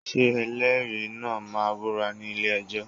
Ṣé ẹlẹ́rìí náà máa búra ní ilé-ẹjọ́?